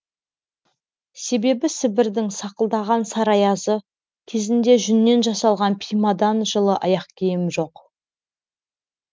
себебі сібірдің сақылдаған сары аязы кезінде жүннен жасалған пимадан жылы аяқ киім жоқ